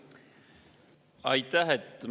Aitäh!